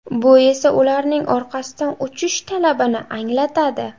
Bu esa ularning orqasidan uchish talabini anglatadi.